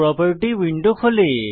property window খোলে